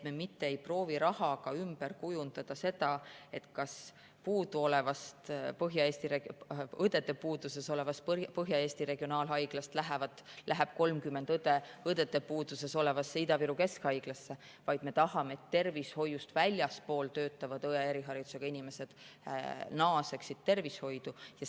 Me mitte ei proovi rahaga kujundada seda ümber nii, et õdede puuduses olevast Põhja-Eesti Regionaalhaiglast läheb 30 õde õdede puuduses olevasse Ida-Viru Keskhaiglasse, vaid me tahame, et tervishoiust väljaspool töötavad õeharidusega inimesed naaseksid tervishoidu.